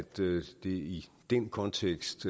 det i den kontekst